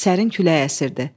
Sərin külək əsirdi.